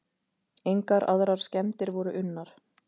Engar aðrar skemmdir voru unnar.